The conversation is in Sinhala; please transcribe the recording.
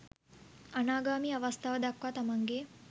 අනාගාමී අවස්ථාව දක්වා තමන්ගේ